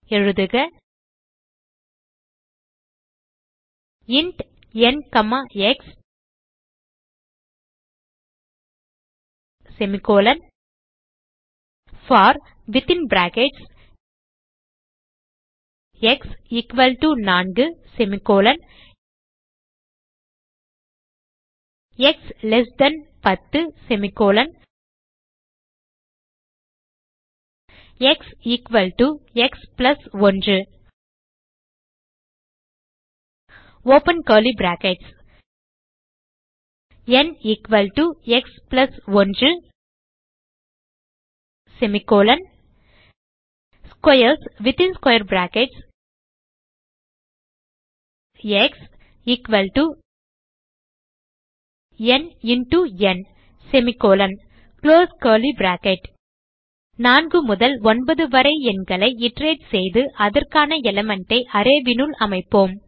எழுதுக int n x for x 4 x 10 x x 1 ந் x 1 squares x n n 4 முதல் 9 வரை எண்களை இட்டரேட் செய்து அதற்கான எலிமெண்ட் ஐ array னுள் அமைப்போம்